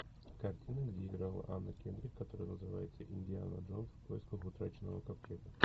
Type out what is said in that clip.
картина где играла анна кендрик которая называется индиана джонс в поисках утраченного ковчега